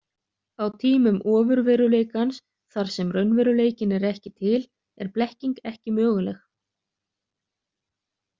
Á tímum ofurveruleikans, þar sem raunveruleikinn er ekki til, er blekking ekki möguleg.